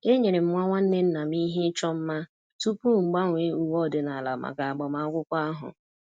enyere m nwa nwanne nna m ihe ịchọ mma tupu m gbanwee uwe ọdịnala maka agbamakwụkwọ ahụ